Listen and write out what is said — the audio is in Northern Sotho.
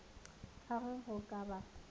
ka ge go ka ba